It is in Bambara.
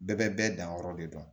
Bɛɛ bɛ bɛɛ danyɔrɔ de dɔn